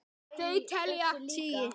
Þau telja tugi.